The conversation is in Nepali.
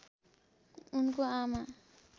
उनको आमा